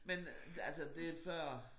Men altså det før